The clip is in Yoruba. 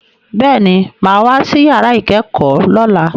Bẹ́ẹ̀ni, mo ma wá sí yàrá ìkẹ́kọ̀ọ́ lọ́la